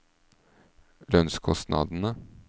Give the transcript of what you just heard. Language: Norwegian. lønnskostnadene